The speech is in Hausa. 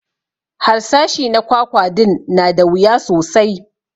Harsashi na kwakwa din na da wuya sosai